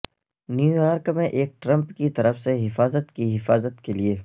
New York میں ایک Trump کی طرف سے حفاظت کی حفاظت کے لئے